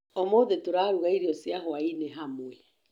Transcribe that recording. Ũmũthĩ tũraruga irio cia hwaĩ-inĩ hamwe